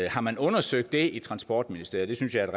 har man undersøgt det i transportministeriet det synes jeg er